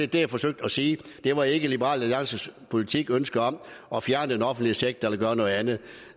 det jeg forsøgte at sige det var ikke liberal alliances politiske ønsker om at fjerne den offentlige sektor eller gøre noget andet